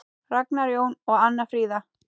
Ragnar Jón og Anna Fríða.